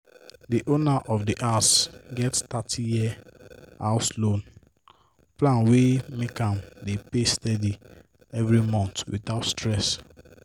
di owner of di house get 30-year house loan plan wey make am dey pay steady every month without stress."